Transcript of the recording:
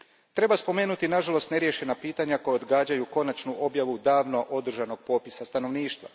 Treba spomenuti i, nažalost, neriješena pitanja koja odgađaju konačnu objavu davno održanog popisa stanovništva.